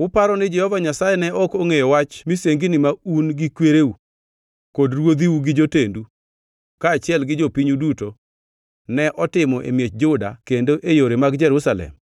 “Uparo ni Jehova Nyasaye ne ok ongʼeyo wach misengini ma un gi kwereu, kod ruodhiu gi jotendu kaachiel gi jopinyu duto ne otimo e miech Juda kendo e yore mag Jerusalem?